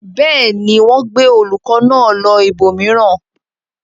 Bẹ́ẹ̀ ni, wọ́n gbé olùkọ́ náà lọ ibòmíràn.